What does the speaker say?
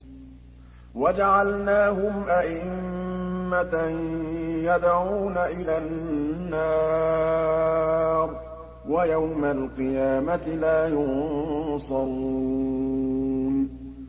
وَجَعَلْنَاهُمْ أَئِمَّةً يَدْعُونَ إِلَى النَّارِ ۖ وَيَوْمَ الْقِيَامَةِ لَا يُنصَرُونَ